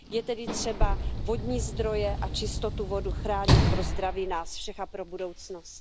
Je tedy třeba vodní zdroje a čistotu vody chránit pro zdraví nás všech a pro budoucnost.